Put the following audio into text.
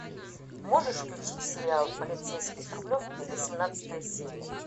можешь включить сериал полицейский с рублевки восемнадцатая серия